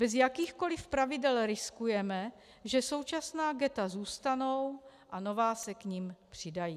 Bez jakýchkoliv pravidel riskujeme, že současná ghetta zůstanou a nová se k nim přidají.